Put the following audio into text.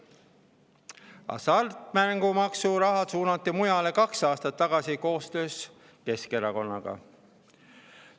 Hasartmängumaksuraha suunati mujale kaks aastat tagasi koostöös Keskerakonnaga.